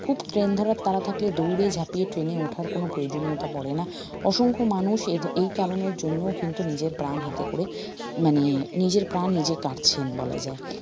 খুব train ধরার তাড়া থাকলে দৌড়ে ঝাপিয়ে train এ উঠার কোনো প্রয়োজনীয়তা পড়ে না অসংখ্য মানুষ এই এই কারনের জন্যও কিন্তু নিজের প্রাণ হাতে করে মানে নিজের প্রাণ নিজে কাটছেন বলা যায়